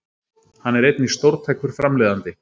Hann er einnig stórtækur framleiðandi